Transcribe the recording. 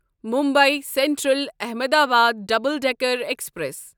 Mumbai central Ahmedabad double decker express